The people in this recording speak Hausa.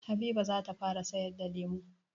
Habiba zata fara sayar da lemu.